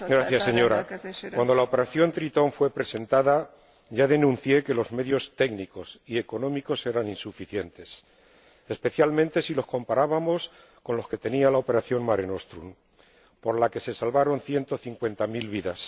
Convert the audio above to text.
Señora Presidenta, cuando la operación Tritón fue presentada, ya denuncié que los medios técnicos y económicos eran insuficientes, especialmente si los comparábamos con los que tenía la operación Mare Nostrum, por la que se salvaron ciento cincuenta mil vidas.